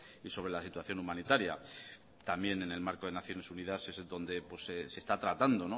y sobre la situación humanitaria también en el marco de naciones unidas es donde se está tratando